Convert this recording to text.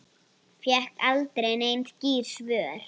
Fékk aldrei nein skýr svör.